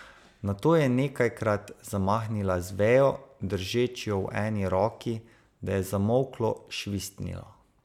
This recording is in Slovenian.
Nato je nekajkrat zamahnila z vejo, držeč jo v eni roki, da je zamolklo švistnilo.